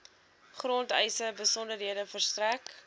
grondeise besonderhede verstrek